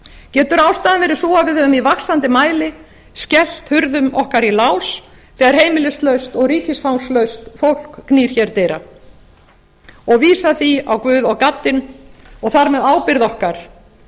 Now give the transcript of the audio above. getur ástæðan verið sú að við höfum i vaxandi mæli skellt hurðum okkar í lás þegar heimilislaust og ríkisfangslaust fólk knýr hér dyra og vísað því á guð og gaddinn og þar með ábyrgð okkar